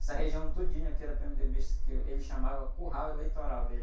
Essa região todinha aqui era pê-eme-dê-bista, que ele chamava curral eleitoral dele.